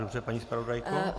Dobře, paní zpravodajko.